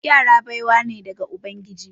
Yara baiwa ne daga ubangiji.